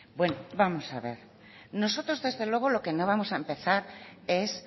bueno vamos a ver nosotros desde luego lo que no vamos a empezar es